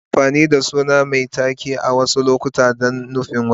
Ana amfani da suna mai taken a wasu lokuta don nufin wani.